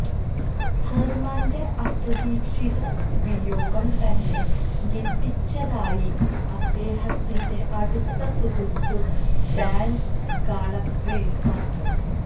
ഹെർമാൻറെ അപ്രതീക്ഷിത വിയോഗം തന്നെ ഞെട്ടിച്ചതായി അദ്ദേഹത്തിന്റെ അടുത്ത സുഹ്ര്ത്തു ഡാൻ കാളബ്രീസ് പറഞ്ഞു